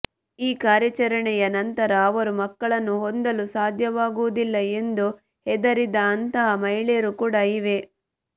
ಈ ಕಾರ್ಯಾಚರಣೆಯ ನಂತರ ಅವರು ಮಕ್ಕಳನ್ನು ಹೊಂದಲು ಸಾಧ್ಯವಾಗುವುದಿಲ್ಲ ಎಂದು ಹೆದರಿದ ಅಂತಹ ಮಹಿಳೆಯರು ಕೂಡ ಇವೆ